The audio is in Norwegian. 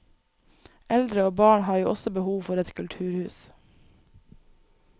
Eldre og barn har jo også behov for et kulturhus.